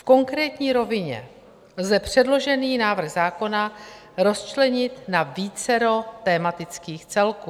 V konkrétní rovině lze předložený návrh zákona rozčlenit na vícero tematických celků.